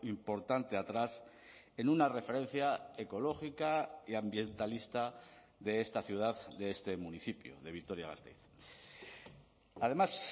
importante atrás en una referencia ecológica y ambientalista de esta ciudad de este municipio de vitoria gasteiz además